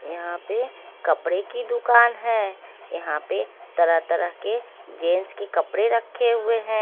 यहां पे कपड़े की दुकान है यहां पे तरह तरह के जेंट्स के कपड़े रखे हुए हैं।